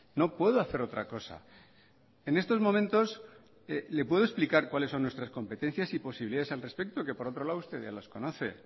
no puedo hacer otra cosa en estos momentos le puedo explicar cuáles son nuestras competencias y posibilidades al respeto que por otro lado usted ya las conoce